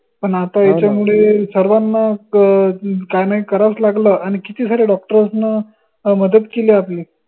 पण आता सर्वांना काहीना काहीना काही करावंच लागलं आनि किती सारे doctors न मदत केली आपली